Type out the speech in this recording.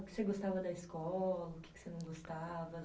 O que você gostava da escola, o que que você não gostava